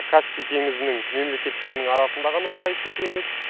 каспий теңізінің мемлекеттерінің арасында ғана сайыс өту емес